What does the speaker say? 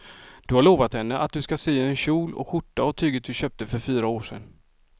Du har lovat henne att du ska sy en kjol och skjorta av tyget du köpte för fyra år sedan.